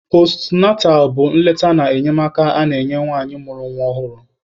Postunatal bụ nleta na enyemaka a na-enye nwanyị mụrụ nwa ọhụrụ.